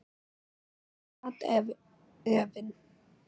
En í mér sat efinn.